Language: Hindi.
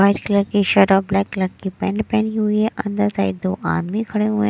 वाइट कलर की शर्ट और ब्लैक कलर की पैंट पहनी हुई है अंदर साइड दो आदमी खड़े हुए हैं।